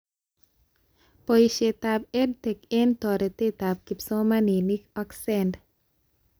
Boishetab EdTech eng toretetab kipsomanink ak SEND